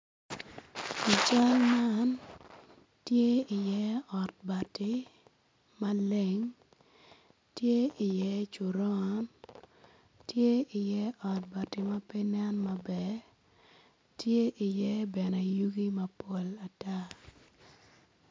I cal man tye i ye ot bati tye i ye coron tye i ye ot bati ma pe nen maber tye i ye bene yugi mapol ata.